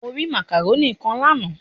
Mo rí ságẹ́ńtì kan lánàá.